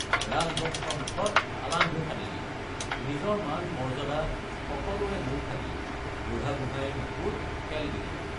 ৰাজবংশৰ মুখত আলান্ধু সানিলি নিজৰ মান মৰ্য্যাদা সকলোৰে মূৰ খালি বুঢ়াগোঁহাইৰ বুকুত শেল দিলি।